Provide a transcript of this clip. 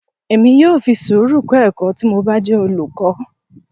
Èmi yóò fi sùúrù kọ ẹ̀kọ́ tí mo bá jẹ́ olùkọ́.